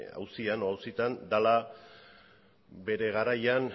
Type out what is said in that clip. auzitan dela bere garaian